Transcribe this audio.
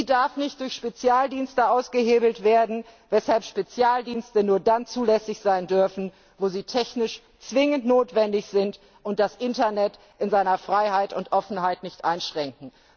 Sie darf nicht durch Spezialdienste ausgehebelt werden, weshalb Spezialdienste nur da zulässig sein dürfen, wo sie technisch zwingend notwendig sind und das Internet in seiner Freiheit und Offenheit nicht einschränken.